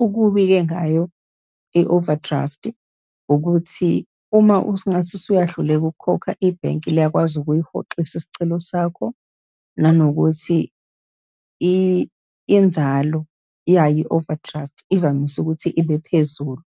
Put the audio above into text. Okubi-ke ngayo i-overdraft, ukuthi uma usungathi usuya hluleka ukukhokha, ibhenki liyakwazi ukuyihoxisa isicelo sakho, nanokuthi inzalo yayo i-overdraft ivamise ukuthi ibe phezulu.